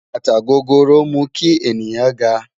Bátà gògóró mú kí ènìyàn gá